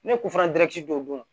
Ne k'u fana don o don